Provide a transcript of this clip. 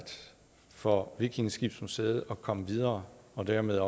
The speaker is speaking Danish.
for vikingeskibsmuseet at komme videre og dermed